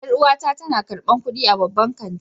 Yar'uwata tana karbar kudi a babban kanti.